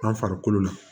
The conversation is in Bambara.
An farikolo la